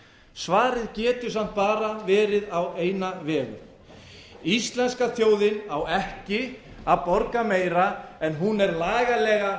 svarið getur samt bara verið á eina vegu íslenska þjóðin á ekki að borga meira en hún er lagalega